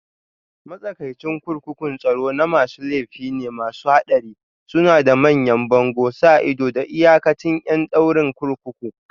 Matsakaicin kurkukun tsaro na masu laifi ne masu haɗari, suna da manyan bango, sa ido, da iyakacin ƴan ɗaurin kurkuku